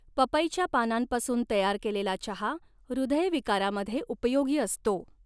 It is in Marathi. पपईच्या पानांपासून तयार केलेला चहा हृदय विकारामध्ये उपयोगी असतो.